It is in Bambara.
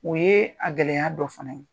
O ye a gɛlɛya dɔ fana ye.